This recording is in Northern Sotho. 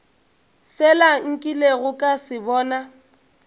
sela nkilego ka se bona